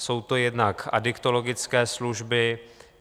Jsou to jednak adiktologické služby.